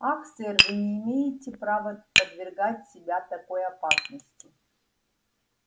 ах сэр вы не имеете права подвергать себя такой опасности